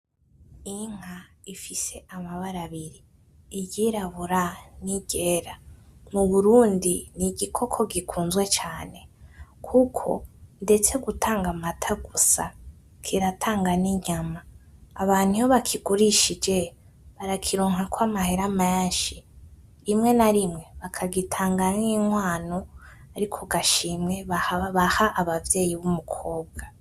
Inka ifise amabara abiri, iryirabura niryera, muburundi nigikoko gikunzwe cane, kuko ndetse gutanga amata gusa kiratanga ninyama, abantu iyo bakigurishije barakironkako amahera menshi, rimwe na rimwe bakagitanga nki nkwano ariko gashimwe baha abavyeyi bumukobwa.